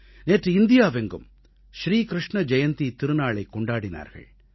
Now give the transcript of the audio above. நேற்று இந்தியாவெங்கும் ஸ்ரீ க்ருஷ்ண ஜெயந்தித் திருநாளைக் கொண்டாடினார்கள்